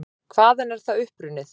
Hvaðan er það upprunnið?